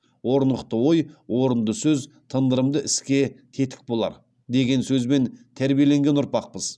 орнықты ой орынды сөз тындырымды іске тетік болар деген сөзбен тәрбиеленген ұрпақпыз